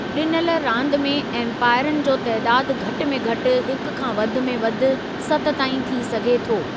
ॾिनल रांदि में एमपायरनि जो तइदादु घटि में घटि हिकु खां वधि में वधि सत ताईं थी सघे थो।